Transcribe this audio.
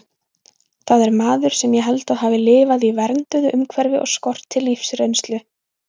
Það er maður sem ég held að hafi lifað í vernduðu umhverfi og skorti lífsreynslu.